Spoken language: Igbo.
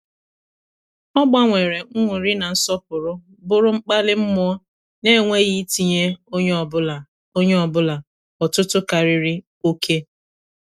ọ gbanwere nnuri na nsọpụrụ bụrụ mkpali mụọ na- enweghị itinye onye ọ bụla onye ọ bụla ọtụtụ karịrị oké.